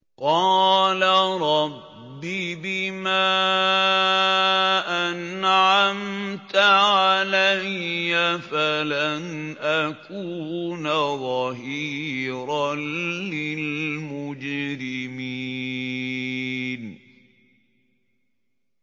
قَالَ رَبِّ بِمَا أَنْعَمْتَ عَلَيَّ فَلَنْ أَكُونَ ظَهِيرًا لِّلْمُجْرِمِينَ